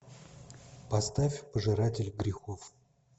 поставь пожиратель грехов